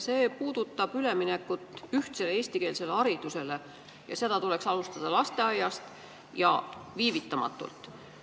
See puudutab üleminekut ühtsele eestikeelsele haridusele, mida tuleks alustada lasteaiast ja viivitamatult.